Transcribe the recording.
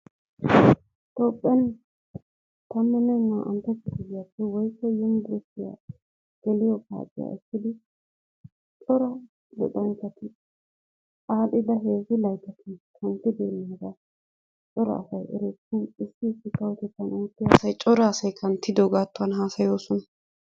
Toophphiyaan tammanne naa"antta kifiliyaape woykko yunburushiyaa geliyoo paaciyaa ekkidi daro luxxanchchati adhdhida heezzu layttatun kunddibeenaaga cora asay erees. Issi issi kawottettaan oottiyaa asay cora asay kanttidoogatuwwan haasayoosona.